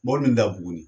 Mɔbili min dabugun